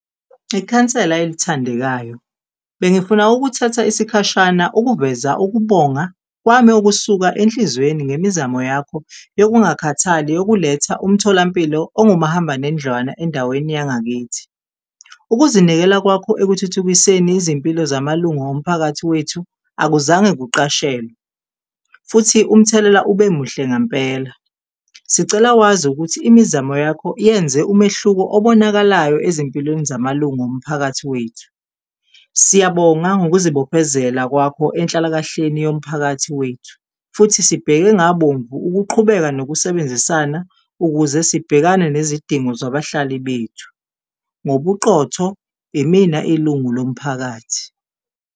Ikhansela elithandekayo, bengifuna ukuthatha isikhashana ukuveza ukubonga kwami okusuka enhlizweni ngemizamo yakho yokungakhathali, yokuletha umtholampilo ongumahambanendlwana endaweni yangakithi. Ukuzinikela kwakho ekuthuthukiseni izimpilo zamalunga omphakathi wethu akuzange kuqashelwe futhi umthelela ube muhle ngempela. Sicela wazi ukuthi imizamo yakho yenze umehluko obonakalayo ezimpilweni zamalunga omphakathi wethu. Siyabonga ngokuzibophezela kwakho enhlalakahleni yomphakathi wethu futhi sibheke ngabomvu ukuqhubeka nokusebenzisana ukuze sibhekane nezidingo zabahlali bethu, ngobuqotho, imina ilungu lomphakathi.